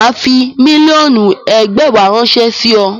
Mà á fi mílíọ̀nù ẹgbàwá ránṣẹ́ sí ọ.